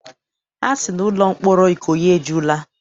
Ha sị na ụlọ mkpọrọ Ikoyi ejula.